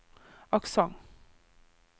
aksent